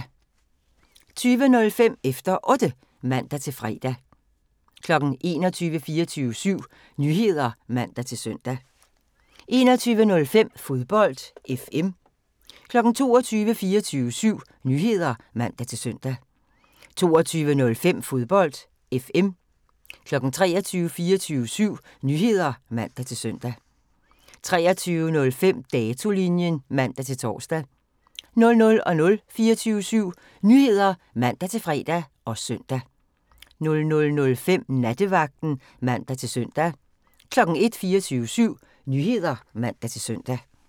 20:05: Efter Otte (man-fre) 21:00: 24syv Nyheder (man-søn) 21:05: Fodbold FM 22:00: 24syv Nyheder (man-søn) 22:05: Fodbold FM 23:00: 24syv Nyheder (man-søn) 23:05: Datolinjen (man-tor) 00:00: 24syv Nyheder (man-fre og søn) 00:05: Nattevagten (man-søn) 01:00: 24syv Nyheder (man-søn)